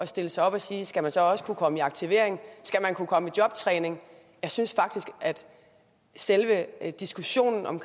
stille sig op og sige skal man så også kunne komme i aktivering skal man kunne komme i jobtræning jeg synes faktisk at selve diskussionen om